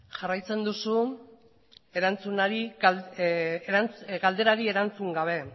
jarraitzen duzu galderari erantzun gabe